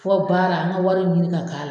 Fɔ baara an ka wari ɲini ka k'a la